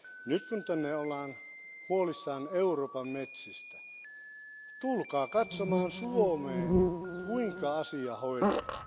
Nyt kun täällä ollaan huolissaan Euroopan metsistä, tulkaa katsomaan Suomeen, kuinka asia hoidetaan.